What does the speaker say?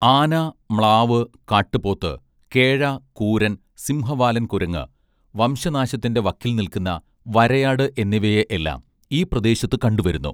ആന മ്ലാവ് കാട്ടുപോത്ത് കേഴ കൂരൻ സിംഹവാലൻ കുരങ്ങ് വംശനാശത്തിന്റെ വക്കിൽ നിൽക്കുന്ന വരയാട് എന്നിവയെ എല്ലാം ഈ പ്രദേശത്ത് കണ്ടുവരുന്നു